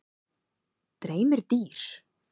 Dreymir dýr?